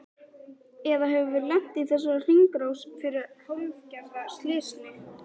Eða höfum við lent í þessari hringrás fyrir hálfgerða slysni?